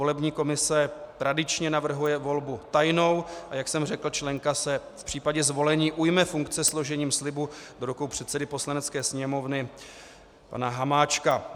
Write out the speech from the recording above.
Volební komise tradičně navrhuje volbu tajnou, a jak jsem řekl, členka se v případě zvolení ujme funkce složením slibu do rukou předsedy Poslanecké sněmovny pana Hamáčka.